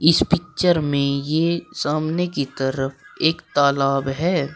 इस पिक्चर में ये सामने की तरफ एक तालाब है।